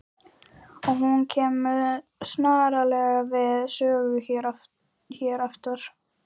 Og hún kemur sannarlega við sögu hér aftar.